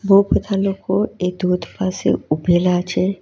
બહુ બધા લોકો એક ધોધ પાસે ઉભેલા છે.